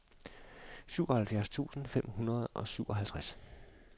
syvoghalvfjerds tusind fem hundrede og syvoghalvtreds